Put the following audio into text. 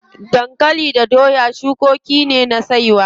Dankali da doya cukoki ne na saiwa.